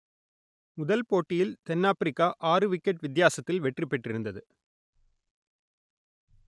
முதல் போட்டியில் தென் ஆப்பிரிக்கா ஆறு விக்கெட் வித்தியாசத்தில் வெற்றி பெற்றிருந்தது